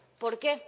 ¿Por qué?